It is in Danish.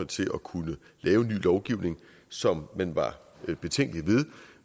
til at kunne lave ny lovgivning som man var betænkelig